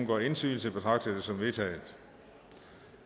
gør indsigelse betragter jeg det som vedtaget